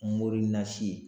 Mori nasi.